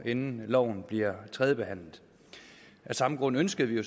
inden loven bliver tredjebehandlet af samme grund ønskede vi